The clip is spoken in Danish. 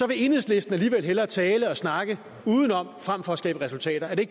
vil enhedslisten alligevel hellere tale og snakke udenom frem for at skabe resultater er det